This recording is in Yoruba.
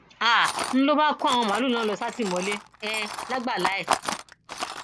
um n ló bá kó àwọn màálùú náà lọ sátìmọlé um lágbàlà ẹ